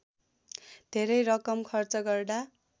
धेरै रकम खर्च गर्दा